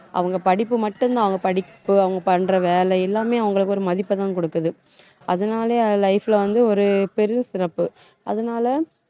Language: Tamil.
அவங்க படிப்பு மட்டும்தான் அவங்க படிப்பு அவங்க பண்ற வேலை எல்லாமே அவங்களுக்கு ஒரு மதிப்பைதான் கொடுக்குது அதனாலே life லே வந்து ஒரு பெரும் சிறப்பு. அதனால